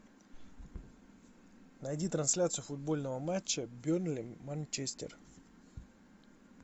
найди трансляцию футбольного матча бернли манчестер